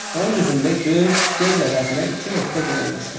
Onun üzündə göz, göz əvəzinə iki nöqtə qoyulmuşdu.